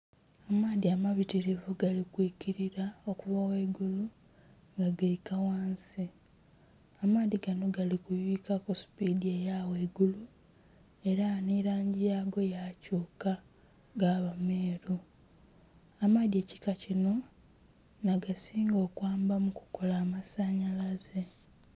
Amaadhi amabitirivu galikwiikirira okuva ghaigulu nga gaika ghansi. Amaadhi ganho galikuyuyika kusupidi eyaghaigulu era nhirangi yakyuka gaba meeru, amaadhi ekika kino nagasinga okwamba mukukala amasanalaze.